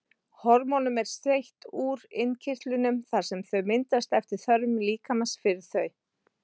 Hormónum er seytt úr innkirtlunum þar sem þau myndast eftir þörfum líkamans fyrir þau.